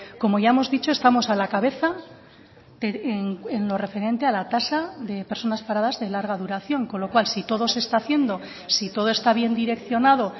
como ya hemos dicho estamos a la cabeza en lo referente a la tasa de personas paradas de larga duración con lo cual si todo se está haciendo si todo está bien direccionado